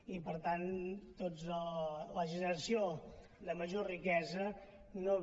i per tant la generació de major riquesa no va